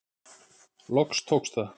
Loks tókst það.